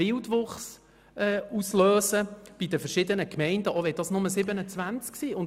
Vielmehr lösen wir bei den verschiedenen Gemeinden einen Wildwuchs aus, auch wenn es nur 27 sind.